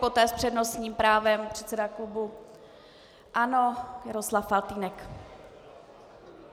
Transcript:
Poté s přednostním právem předseda klubu ANO Jaroslav Faltýnek.